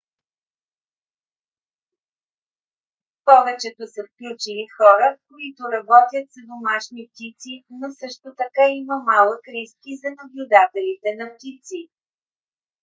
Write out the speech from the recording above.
повечето са включили хора които работят с домашни птици но също така има малък риск и за наблюдателите на птици